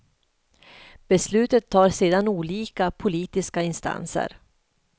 Beslutet tar sedan olika politiska instanser.